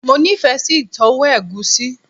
Mo nife si itowo egusi